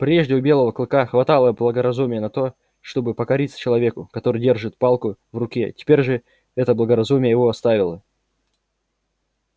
прежде у белого клыка хватало благоразумия на то чтобы покориться человеку который держит палку в руке теперь же это благоразумие его оставило